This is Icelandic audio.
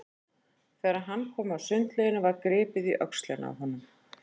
Þegar hann kom að sundlauginni var gripið í öxlina á honum.